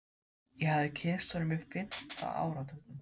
Ég hafði kynnst honum á fimmta áratugnum.